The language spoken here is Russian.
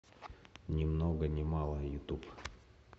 ни много ни мало ютуб